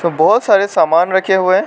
बहुत सारे सामान रखे हुए हैं।